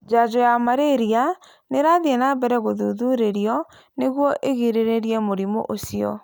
Njajo yaa malaria nĩ ĩrathiĩ na mbere gũthuthurĩrio nĩguo ĩgirĩrĩrie mũrimũ ũcio.